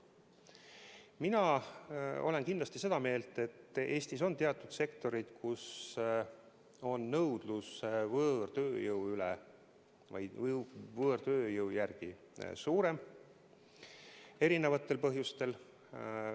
Mina olen kindlasti seda meelt, et Eestis on teatud sektorid, kus on nõudlus võõrtööjõu järele erinevatel põhjustel suurem.